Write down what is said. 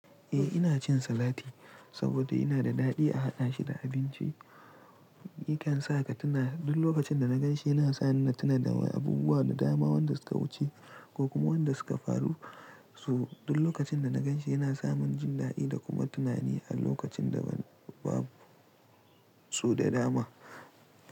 Eh ina cin salati, saboda yana da daɗi a haɗa shi da abinci. Yakan sa ka tuna, duk lokacin da na gan shi yana sa ni na tuna da abubuwa da dama, wanda suka wuce ko kuma wanda suka faru, su, duk lokacin da na gan shi. Yana samin jin daɗi da kuma tunani a lokacin da babu, so da dama.